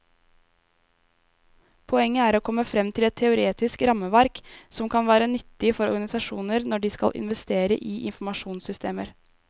Poenget er å komme frem til et teoretisk rammeverk som kan være nyttig for organisasjoner når de skal investere i informasjonssystemer.